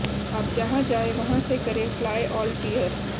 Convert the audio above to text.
आप जहां जाए वहां से करें फ्लाए ऑल टियर